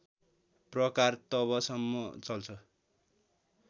प्रकार तबसम्म चल्छ